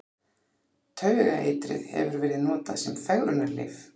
Taugaeitrið hefur verið notað sem fegrunarlyf.